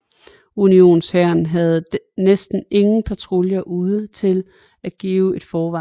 Unionshæren havde næsten ingen patruljer ude til at give et forvarsel